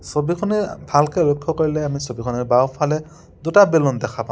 ছবিখনি ভালকে লক্ষ্য কৰিলে আমি ছবিখনত বাওঁফালে দুটা বেলুন দেখা পাওঁ।